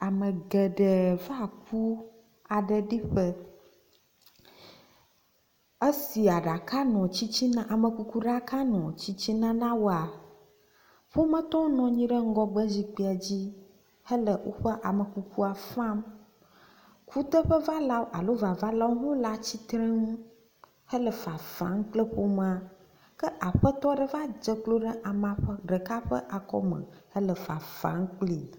Ame geɖe va ku aɖe ɖi ƒe. Esi aɖaka nɔ tsitsina amekuku ɖaka nɔ tsitsina na woa, ƒometɔwo nɔ anyi ɖe ŋgɔgbe zikpuia dzi hele woƒe amekukua fam. Kuteƒevalawo alo vavalawo hã le atsitrenu hele fafam kple ƒomea. Ke aƒetɔ aɖe va dze klo ɖe amea ƒe ɖeka ƒe akɔme hele fafam klpi.